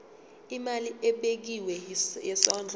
imali ebekiwe yesondlo